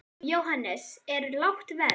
Jóhannes: Er lágt verð?